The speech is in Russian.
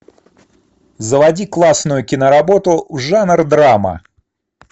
заводи классную киноработу жанр драма